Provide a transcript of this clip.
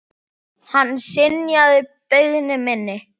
Hann synjaði beiðni minni.